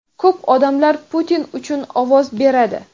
ko‘p odamlar Putin uchun ovoz beradi.